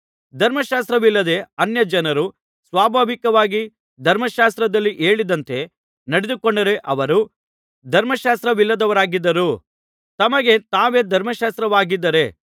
ಧರ್ಮಶಾಸ್ತ್ರವಿಲ್ಲದ ಅನ್ಯಜನರು ಸ್ವಾಭಾವಿಕವಾಗಿ ಧರ್ಮಶಾಸ್ತ್ರದಲ್ಲಿ ಹೇಳಿದಂತೆ ನಡೆದುಕೊಂಡರೆ ಅವರು ಧರ್ಮಶಾಸ್ತ್ರವಿಲ್ಲದವರಾಗಿದ್ದರೂ ತಮಗೆ ತಾವೇ ಧರ್ಮಶಾಸ್ತ್ರವಾಗಿದ್ದಾರೆ